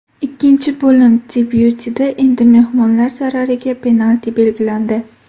Ikkinchi bo‘lim debyutida endi mehmonlar zarariga penalti belgilandi.